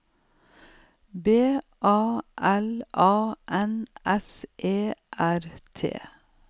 B A L A N S E R T